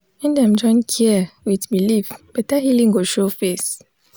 when dem join care with belief better healing go show face.